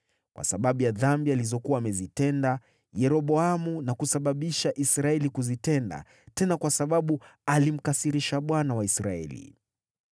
kwa sababu ya dhambi alizokuwa amezitenda Yeroboamu na kusababisha Israeli kuzitenda, tena kwa sababu alimkasirisha Bwana , Mungu wa Israeli.